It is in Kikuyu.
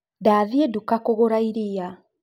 Ndathĩĩ duka kũgũra irĩa